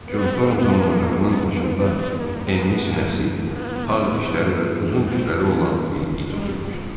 Con Thorntonun ocağının başında enli sinəsi, ağ dişləri və uzun tükləri olan bir it oturmuşdu.